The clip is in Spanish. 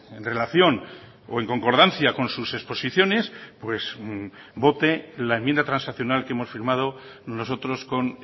en relación o en concordancia con sus exposiciones vote la enmienda transaccional que hemos firmado nosotros con